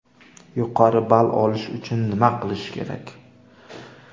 Yuqori ball olish uchun nima qilish kerak?